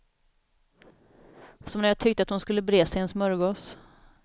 Som när jag tyckte hon skulle breda sig en smörgås.